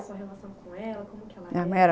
sua relação com ela? Como que ela era? minha mãe